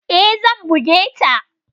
E, zan buge ta.